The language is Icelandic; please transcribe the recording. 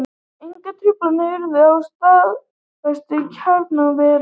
Engar truflanir urðu á starfsemi kjarnorkuvera